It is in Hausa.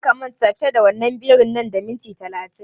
Kar ka manta fita da birin nan da minti talatin!